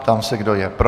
Ptám se, kdo je pro.